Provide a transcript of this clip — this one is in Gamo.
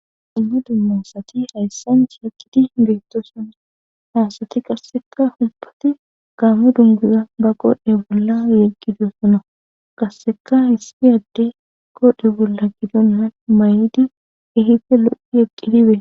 Dumma dumma asati hayssan sheeqiti beetto sonni haasati qasseka humbati gaamo dunguza ba qode bolla eqgido sona qasseka hissi adde kode bolla gidonnan may7idi ehife lo7i eqqidibe.